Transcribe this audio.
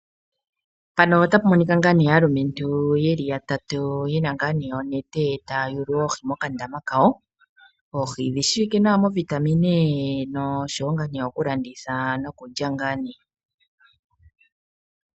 Mpano otapu monika ngaa nee aalumentu yeli ya tatu, yena ngaa ne onete taya yulu oohi moka dama kawo, oohi odhi shiwika nawa mo vitamine, nosho wo ngaa ne okulanditha, no kulya ngaa nee.